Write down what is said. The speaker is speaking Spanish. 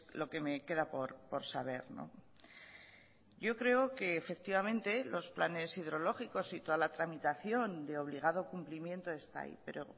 lo que me queda por saber yo creo que efectivamente los planes hidrológicos y toda la tramitación de obligado cumplimiento está ahí pero